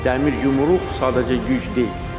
Dəmir yumruq sadəcə güc deyil.